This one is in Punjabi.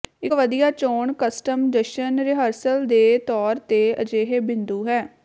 ਇੱਕ ਵਧੀਆ ਚੋਣ ਕਸਟਮ ਜਸ਼ਨ ਰਿਹਰਸਲ ਦੇ ਤੌਰ ਤੇ ਅਜਿਹੇ ਬਿੰਦੂ ਹੈ